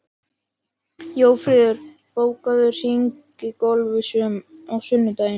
Jófríður, bókaðu hring í golf á sunnudaginn.